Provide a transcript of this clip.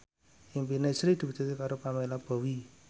impine Sri diwujudke karo Pamela Bowie